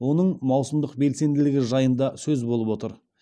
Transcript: оның маусымдық белсенділігі жайында сөз болып отыр